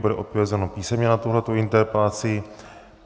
Bude odpovězeno písemně na tuto interpelaci.